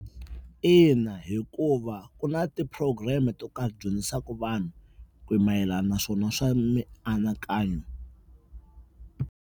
Ina hikuva ku na ti-program-i to karhi ti dyondzisaka vanhu mayelana na swona swa mianakanyo.